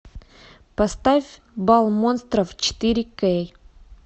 поставь бал монстров четыре кей